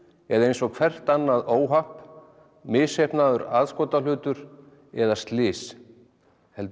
eða eins og hvert annað óhapp misheppnaður aðskotahlutur eða slys heldur